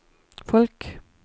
folk